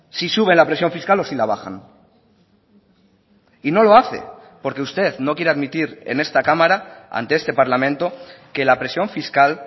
si sube la presión fiscal o si la bajan y no lo hace porque usted no quiere admitir en esta cámara ante este parlamento que la presión fiscal